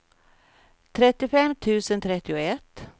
trettiofem tusen trettioett